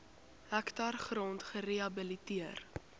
hektaar grond gerehabiliteer